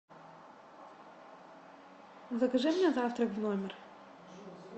закажи мне завтрак в номер